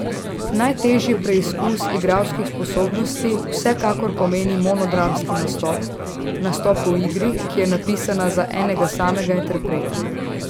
Najtežji preizkus igralskih sposobnosti vsekakor pomeni monodramski nastop, nastop v igri, ki je napisana za enega samega interpreta.